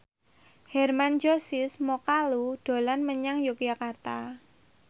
Hermann Josis Mokalu dolan menyang Yogyakarta